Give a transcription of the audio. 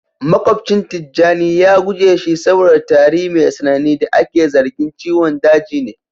makwabcin tijjani ya guje shi saboda tari mai tsanani da ake zargin ciwon daji ne